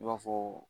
I b'a fɔ